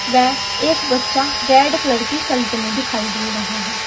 वह एक बच्चा रेड कलर की शल्ट में दिखाई दे रहा है।